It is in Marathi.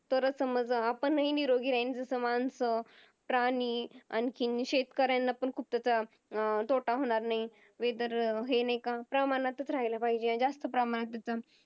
तरच समज आपणही निरोगी राहीन जस मानस, प्राणी अनखीन शेतकऱ्यांना पण खूप त्याचा अं तोटा होणार नाही Weather हे नाही का प्रमाणातच राहायला पाहिजेत अन जास्त प्रमाणात त्याच